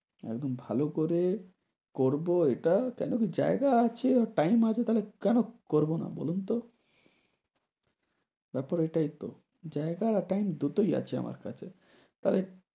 একদম ভালো করে করবো এটা। কেননা জায়গা আছে আর time আছে, তাহলে কেনো করবো না বলুন তো? ব্যাপার এইটাইতো জায়গা time দুটোই আছে আমার কাছে, লাইতে